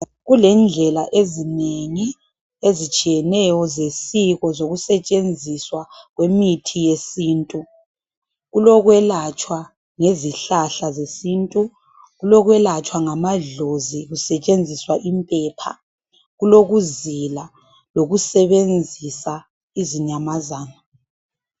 Kulendlela ezinengi ezitshiyeneyo zesiko zokusetshenziswa kwe mithi yesintu. Kulokwelatshwa ngezihlahla zesintu .Kulokwelatshwa ngamadlozi kusetshenziswa impepha, kulokuzila lokusebenzisa izinyamazana.